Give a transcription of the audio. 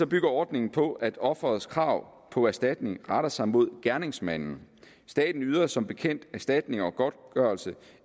bygger ordningen på at offerets krav på erstatning retter sig mod gerningsmanden staten yder som bekendt erstatning og godtgørelse